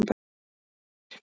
Birtir